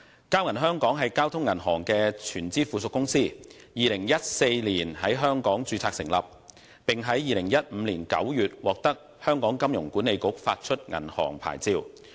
交銀香港是交通銀行的全資附屬公司，於2014年在香港註冊成立，並於2015年9月獲得香港金融管理局發出銀行牌照。